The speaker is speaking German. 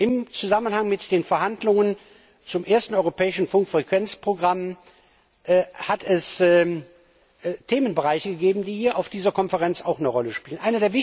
Im Zusammenhang mit den Verhandlungen zum ersten europäischen Funkfrequenzprogramm hat es Themenbereiche gegeben, die hier auf dieser Konferenz auch eine Rolle spielen.